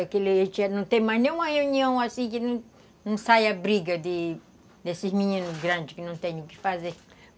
Aquele dia não tem mais nenhuma reunião assim que não sai a briga de desses meninos grandes que não têm o que fazer.